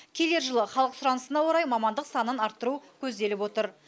келер жылы халық сұранысына орай мамандық санын арттыру көзделіп отыр